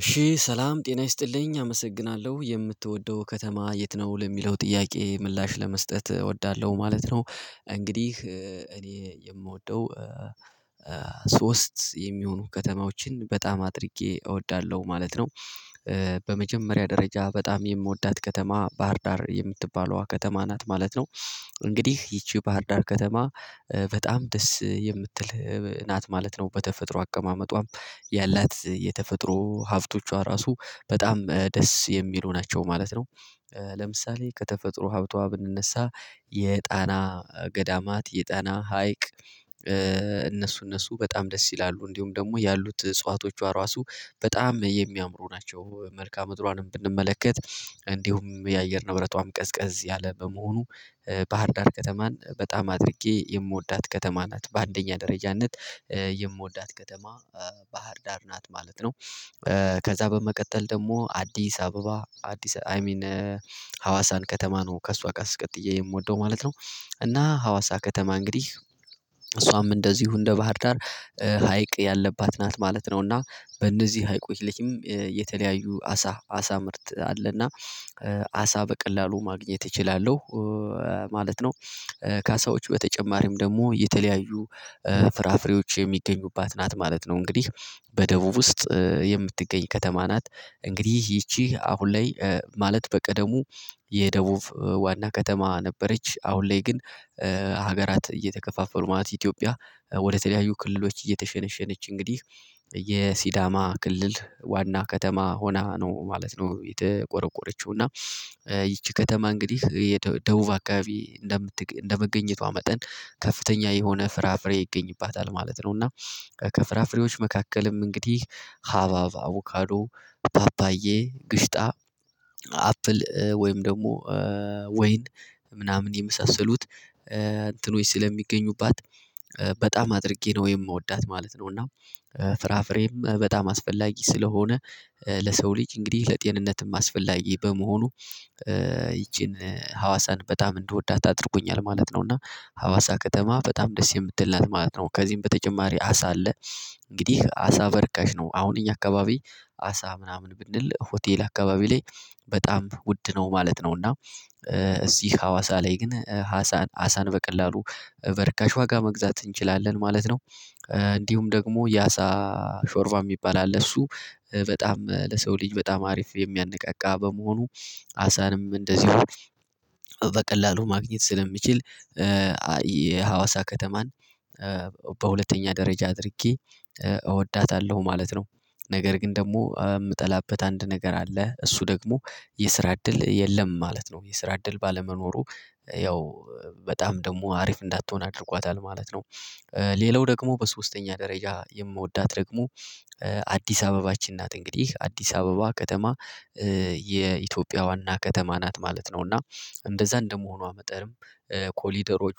እሺ ሰላም ጤና ይስጥልኝ? አመሰግናለሁ የምትወደው ከተማ የት ነው? ለሚለው ጥያቄ ምላሽ ለመስጠት እወዳለሁ ማለት ነው። እንግዲህ እኔ የምወደው ሶስት የሚሆኑ ከተማዎችን በጣም አድርጌ እወዳለሁ። ማለት ነው። በመጀመሪያ ደረጃ በጣም የምወዳት ከተማ ባህርዳር የምትባለዋ ከተማ ናት ማለት ነው እንግዲህ ይቺ ባህርዳር ከተማ በጣም ደስ የምትል ናት ማለት ነው በተፈጥሮ አቀማመጧም ያላት የተፈጥሮ ሀብቶቿ ራሱ በጣም ደስ የሚሉ ናቸው ማለት ነው። ለምሳሌ ከተፈጥሮ ሀብቷ ብንነሳ የጣና ገዳማት የጣና ሀይቅ እነሱ እነሱ በጣም ደስ ይላሉ። እንዲሁም ደግሞ ያሉት እጽዋቶቿ ራሱ በጣም የሚያምሩ ናቸው። መልካም ምድሯንም ብንመለከት እንዲሁም የአየር ንብረቷም ቀዝቀዝ ያለ በመሆኑ ባህር ዳር ከተማን በጣም አድርጌ የምወዳት ከተማ ናት። በአንደኛ ደረጃነት የምወዳት ከተማ ባህር ዳር ናት ማለት ነው። ከዛ በመቀጠል ደግሞ አዲስ አበባ አዲስ አይ ሚን ሀዋሳን ከተማ ነው ከእሷ ጋር ቀጥዬ የምወደው ማለት ነው። እና ሀዋሳ ከተማ እንግዲህ እሷም እንደዚሁ እንደ ባህር ዳር ሀይቅ ያለባት ናት ማለት ነው። እና በእነዚህ ሀይቁ ልጅም የተለያዩ አሳ አሳ ምርት አለና አሳ በቀላሉ ማግኘት እችላለሁ። ማለት ነው። ካሳዎቹ በተጨማሪም ደግሞ የተለያዩ ፍራፍሬዎች የሚገኙባት ናት ማለት ነው። እንግዲህ በደቡብ ውስጥ የምትገኝ ከተማ ናት። እንግዲህ ይቺ አሁን ላይ ማለት በቀደሙ የደቡብ ዋና ከተማ ነበረች። አሁን ላይ ግን ሀገራት እየተከፋፈሉ መአት ኢትዮጵያ ወደተለያዩ ክልሎች እየተሸነሸነች እንግዲህ የሲዳማ ክልል ዋና ከተማ ሆና ነው ማለት ነው የተቆረቆረችው እና ይቺ ከተማ እንግዲህ የደቡብ አካባቢ እንደምት እንደመገኘቷ መጠን ከፍተኛ የሆነ ፍራፍሬ ይገኝባታል። ማለት ነው እና ከፍራፍሬዎች መካከልም እንግዲህ ሀባብ፣ አቮካዶ፣ ፓፓዬ ግሽጣ አፕል ወይም ደግሞ ወይን ምናምን የመሳሰሉት እንትኖች ስለሚገኙባት በጣም አድርጌ ነው የምወዳት ማለት ነው። እና ፍራፍሬም በጣም አስፈላጊ ስለሆነ ለሰው ልጅ እንግዲህ ለጤንነትም አስፈላጊ በመሆኑ ይቺን ሀዋሳን በጣም እንድወዳት አድርጎኛል። ማለት ነው እና ሀዋሳ ከተማ በጣም ደስ የምትልናት ማለት ነው ከዚህም በተጨማሪ አሳ አለ። እንግዲህ አሳ በርካሽ ነው አሁን እኛ አካባቢ አሳ ምናምን ብንል ሆቴል አካባቢ ላይ በጣም ውድ ነው። ማለት ነው እና እዚህ ሀዋሳ ላይ ግን ሀሳን ሀሳን በቀላሉ በርካሽ ዋጋ መግዛት እንችላለን። ማለት ነው። እንዲሁም ደግሞ የአሳ ሾርባ የሚባል አለ። እሱ በጣም ለሰው ልጅ በጣም አሪፍ የሚያነቃቃ በመሆኑ አሳንም እንደዚሁ በቀላሉ ማግኘት ስለሚችል የሀዋሳ ከተማን በሁለተኛ ደረጃ አድርጌ እወዳታለሁ። ማለት ነው። ነገር ግን ደግሞ የምጠላበት አንድ ነገር አለ እሱ ደግሞ የስራ እድል የለም ማለት ነው። የስራ እድል ባለመኖሩ ያው በጣም ደግሞ አሪፍ እንዳትሆን አድርጓታል ማለት ነው። ሌላው ደግሞ በሶስተኛ ደረጃ የምወዳት ደግሞ አዲስ አበባችን ናት። እንግዲህ አዲስ አበባ ከተማ የኢትዮጵያ ዋና ከተማ ናት ማለት ነው እና እንደዛ እንደመሆኗ መጠንም ኮሊደሮቿ